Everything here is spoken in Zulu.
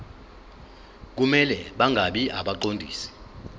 kumele bangabi ngabaqondisi